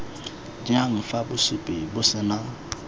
jang fa bosupi bo sena